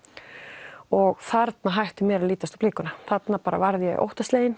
og þarna hætti mér að lítast á blikuna þarna varð ég óttaslegin